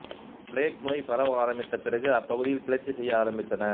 plague நோய் பரவ ஆரம்பித்த பிறகு அப்பகுதிகள் கிளர்ச்சி செய்ய ஆரம்பித்தன